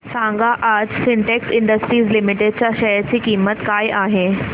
सांगा आज Sintex industries limited च्या शेअर ची किंमत काय आहे